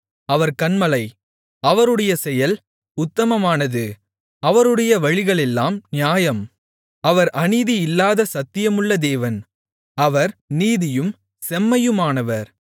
அவர் கன்மலை அவருடைய செயல் உத்தமமானது அவருடைய வழிகளெல்லாம் நியாயம் அவர் அநீதி இல்லாத சத்தியமுள்ள தேவன் அவர் நீதியும் செம்மையுமானவர்